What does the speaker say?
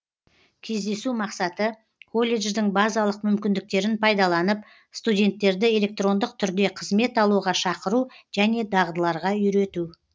кездесу мақсаты колледждің базалық мүмкіндіктерін пайдаланып студенттерді электрондық түрде қызмет алуға шақыру және дағдыларға үйрету